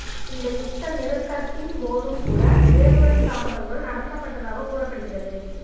இந்த யுத்த நிறுத்தத்தின் போதும்கூட ஏவுகணை தாக்குதல்கள் நடத்தப்பட்டதாக கூறப்படுகிறது